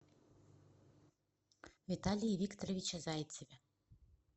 виталии викторовиче зайцеве